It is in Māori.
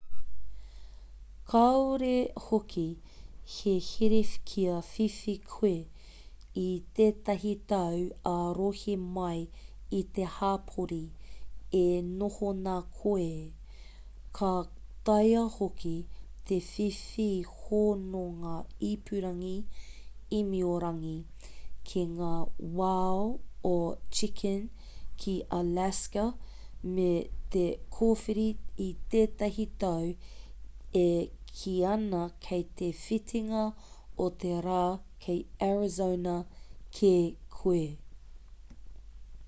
kāore hoki he here kia whiwhi koe i tētahi tau ā-rohe mai i te hapori e noho nā koe ka taea hoki te whiwhi hononga ipurangi āmiorangi ki ngā wao o chicken ki alaska me te kōwhiri i tētahi tau e kī ana kei te whitinga o te rā kei arizona kē koe